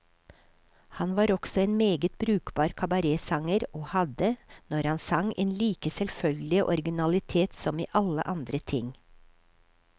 Han var også en meget brukbar kabaretsanger, og hadde, når han sang, en like selvfølgelig originalitet som i alle andre ting.